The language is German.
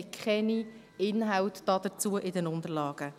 wir haben keine Inhalte dazu in den Unterlagen.